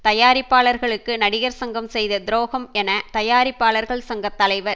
தயாரிப்பாளர்களுக்கு நடிகர் சங்கம் செய்த துரோகம் என தயாரிப்பாளர்கள் சங்க தலைவர்